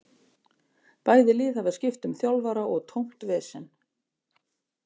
Bæði lið hafa skipt um þjálfara og tómt vesen.